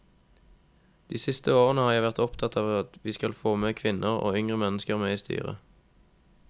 De siste årene har jeg vært opptatt av at vi skal få med kvinner, og yngre mennesker med i styret.